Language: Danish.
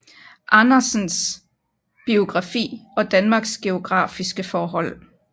Andersens biografi og Danmarks geografiske forhold